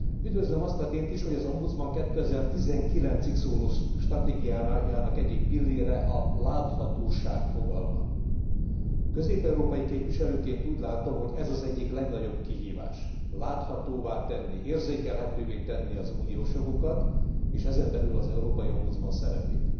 Üdvözlöm azt a tényt is, hogy az ombudsman 2019 ig szóló stratégiájának egyik pillére a láthatóság fogalma. Közép európai képviselőként úgy látom, hogy ez az egyik legnagyobb kihívás láthatóvá tenni, érzékelhetővé tenni az uniós jogokat és ezen belül az európai ombudsman szerepét.